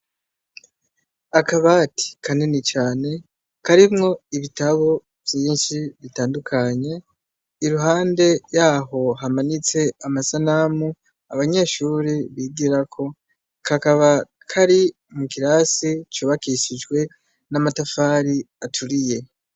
Akabati kaneni cane karimwo ibitabo vyinshi bitandukanye iruhande yaho hamanitse amasanamu abanyeshuri bigira ko kakaba kari mu kirasi cubakishijwe n'amatafari aturiye.